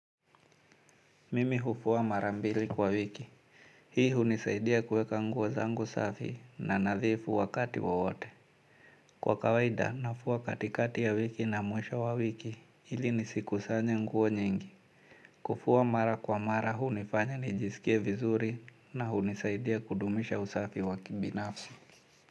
Mimi hufua mara mbili kwa wiki. Hii hunisaidia kuweka nguo zangu safi na nadhifu wakati wowote. Kwa kawaida nafua katikati ya wiki na mwisho wa wiki ili nisikusanye nguo nyingi. Kufua mara kwa mara hunifanya nijisikie vizuri na hunisaidia kudumisha usafi wa kibinafsi.